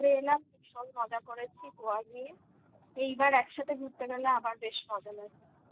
ঘুরে এলাম ভীষণ মজা করেছি Goa নিয়ে এইবার একসাথে ঘুরতে গেলে আবার বেশ মজা লাগবে